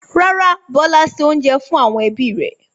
Rárá, Bọ́lá se oúnjẹ fún àwọn ẹbí rẹ̀.